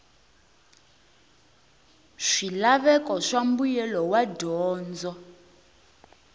swilaveko swa mbuyelo wa dyondzo